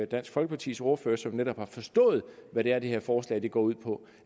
dansk folkepartis ordfører som netop har forstået hvad det er det her forslag går ud på